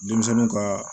Denmisɛnninw ka